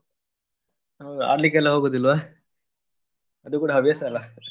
ಹೌದಾ ಆಡ್ಲಿಕ್ಕೆಲ್ಲ ಹೋಗೋದಿಲ್ವಾ ಅದು ಕೂಡ ಹವ್ಯಾಸ ಅಲ್ಲ?